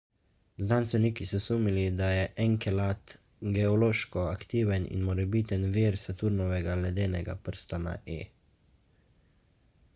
znanstveniki so sumili da je enkelad geološko aktiven in morebiten vir saturnovega ledenega prstana e